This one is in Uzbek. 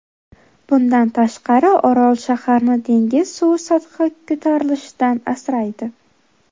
Bundan tashqari, orol shaharni dengiz suvi sathi ko‘tarilishidan asraydi.